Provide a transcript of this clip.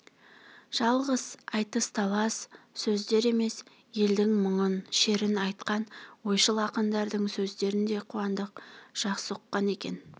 жалғыз айтыс-талас сөздер емес елдің мұңын-шерін айтқан ойшыл ақындардың сөздерін де қуандық жақсы ұққан екен